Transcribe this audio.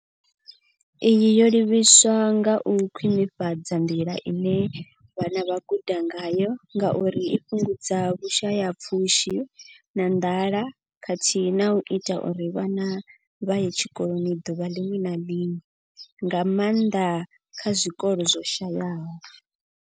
Iyi yo livhiswa kha u khwinifhadza nḓila ine vhana vha guda ngayo ngauri i fhungudza vhushayapfushi na nḓala khathihi na u ita uri vhana vha ye tshikoloni ḓuvha ḽiṅwe na ḽiṅwe, nga maanḓa kha zwikolo zwo shayaho.